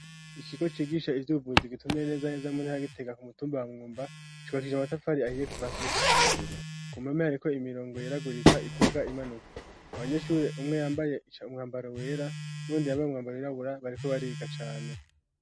Ikigo cigisha ivyo ubuvuzi gitumbereye neza neza mu ntara ya Gitega ku mutumba wa Mwumba, cubakije amatafari ahiye kuva hasi gushika hejuru. Ku mpome hariko imirongo yeragurika iduga imanuka. Abanyeshuri umwe yambaye umwambaro wera, n'uwundi yambaye umwambaro wirabura, bariko bariga cane.